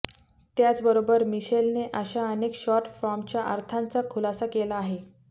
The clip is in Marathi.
त्याचबरोबर मिशेलने अशा अनेक शॉर्ट फॉर्मच्या अर्थांचा खुलासा केला आहे